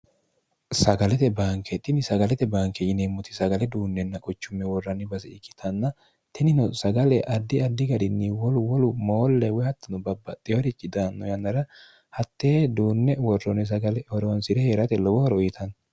sagalete bankeexxinni sagalete banke yineemmoti sagale duunnenna qochumme worranni base ikkitanna tinino sagale addi addi garinni wolu wou moolle woy hattino babbaxxeyorichi daanno yannara hatte duunne worroonni sagale horoonsi're hee'rate lobo horo uyitanno